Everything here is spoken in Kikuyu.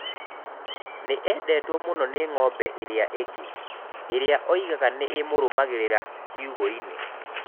Nĩ endetwo mũno nĩ ng'ombe iria ingĩ, iria oigaga nĩ imũrũmagĩrĩra kĩungo-inĩ